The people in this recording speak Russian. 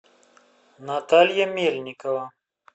наталья мельникова